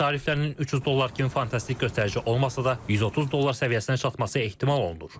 Neft tariflərinin 300 dollar kimi fantastik göstərici olmasa da, 130 dollar səviyyəsinə çatması ehtimal olunur.